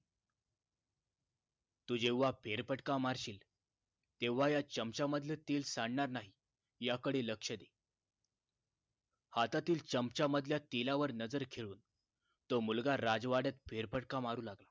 तू जेव्हा फेरफटका मारशीलतेव्हा या चमचा मधल तेल सांडणार नाही याकडे लक्ष दे हातातील चमचामधल्या तेलावर नजर खेळून तो मुलगा राजवाड्यात फेरफटका मारू लागला